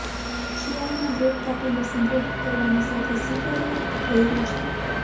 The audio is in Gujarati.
શિયાળામાં ગ્રેપ કાપીને સંગ્રહિત કરવાની સૌથી સ્વીકાર્ય રીત ભોંયરું છે